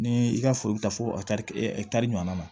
Ni i ka foro bi taa fo kari kari ɲɔgɔnna ma